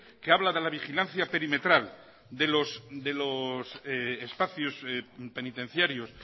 que habla de la vigilancia perimetral de los espacios penitenciarios